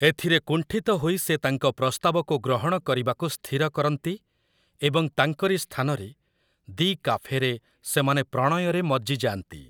ଏଥିରେ କୁଣ୍ଠିତ ହୋଇ ସେ ତାଙ୍କ ପ୍ରସ୍ତାବକୁ ଗ୍ରହଣ କରିବାକୁ ସ୍ଥିର କରନ୍ତି, ଏବଂ ତାଙ୍କରି ସ୍ଥାନରେ, 'ଦି କାଫେ'ରେ ସେମାନେ ପ୍ରଣୟରେ ମଜ୍ଜିଯା'ନ୍ତି ।